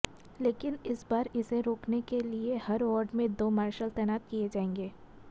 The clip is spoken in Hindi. लेकिन इस बार इसे रोकने के लिए हर वार्ड में दो मार्शल तैनात किये जायेंगे